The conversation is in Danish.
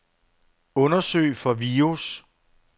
Undersøg for virus.